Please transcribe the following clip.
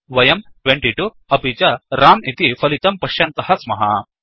वयं 22 अपि च रं इति फलितं पश्यन्तः स्मः